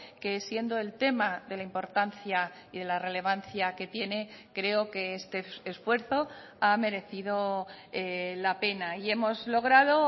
que siendo el tema de la importancia y de la relevancia que tiene creo que este esfuerzo ha merecido la pena y hemos logrado